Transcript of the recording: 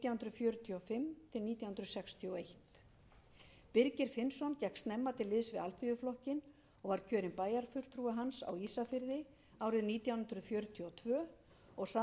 fjörutíu og fimm til nítján hundruð sextíu og eitt birgir finnsson gekk snemma til liðs við alþýðuflokkinn og var kjörinn bæjarfulltrúi hans á ísafirði árið nítján hundruð fjörutíu og tvö og sat